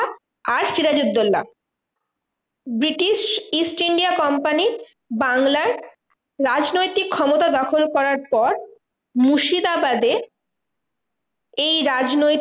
আর Sirajuddaula British East India company বাংলার রাজনৈতিক ক্ষমতা দখল করার পর, মুর্শিদাবাদে এই রাজনৈতিক